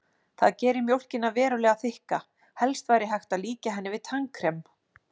Það gerir mjólkina verulega þykka, helst væri hægt að líkja henni við tannkrem.